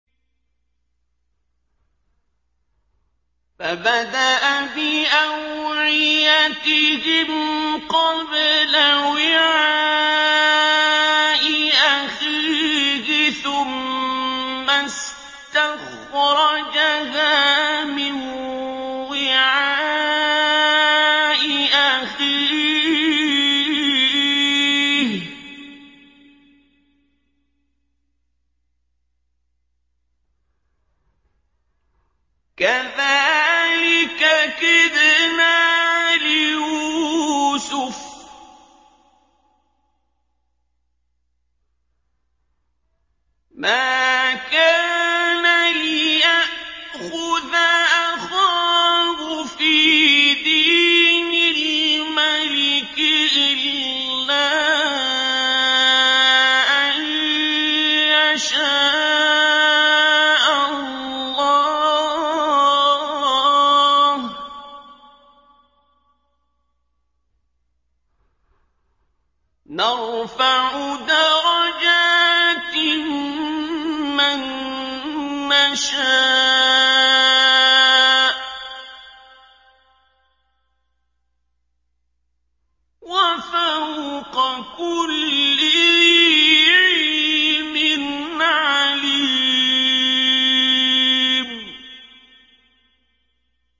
فَبَدَأَ بِأَوْعِيَتِهِمْ قَبْلَ وِعَاءِ أَخِيهِ ثُمَّ اسْتَخْرَجَهَا مِن وِعَاءِ أَخِيهِ ۚ كَذَٰلِكَ كِدْنَا لِيُوسُفَ ۖ مَا كَانَ لِيَأْخُذَ أَخَاهُ فِي دِينِ الْمَلِكِ إِلَّا أَن يَشَاءَ اللَّهُ ۚ نَرْفَعُ دَرَجَاتٍ مَّن نَّشَاءُ ۗ وَفَوْقَ كُلِّ ذِي عِلْمٍ عَلِيمٌ